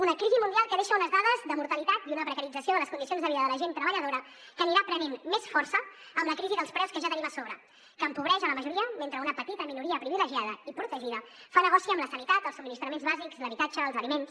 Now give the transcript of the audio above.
una crisi mundial que deixa unes dades de mortalitat i una precarització de les condicions de vida de la gent treballadora que anirà prenent més força amb la crisi dels preus que ja tenim a sobre que empobreix la majoria mentre una petita minoria privilegiada i protegida fa negoci amb la sanitat els subministraments bàsics l’habitatge els aliments